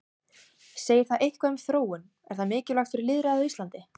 Segir það eitthvað um þróun, er það mikilvægt fyrir lýðræðið á Íslandi?